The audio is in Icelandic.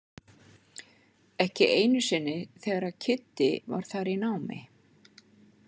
Ekki einu sinni þegar Kiddi var þar í námi.